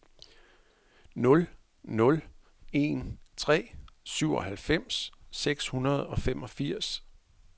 nul nul en tre syvoghalvfems seks hundrede og femogfirs